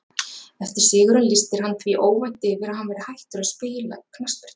Eftir sigurinn lýsti hann því óvænt yfir að hann væri hættur að spila knattspyrnu.